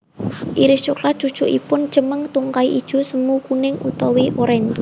Iris coklat cucukipun cemeng tungkai ijo semu kuning utawi orange